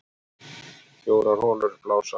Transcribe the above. Fjórar holur blása